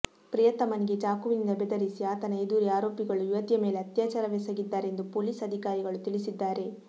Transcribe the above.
ಪ್ರಿಯತಮನಿಗೆ ಚಾಕುವಿನಿಂದ ಬೆದರಿಸಿ ಆತನ ಎದುರೇ ಆರೋಪಿಗಳು ಯುವತಿಯ ಮೇಲೆ ಅತ್ಯಾಚಾರವೆಸಗಿದ್ದಾರೆ ಎಂದು ಪೊಲೀಸ್ ಅಧಿಕಾರಿಗಳು ತಿಳಿಸಿದ್ದಾರೆ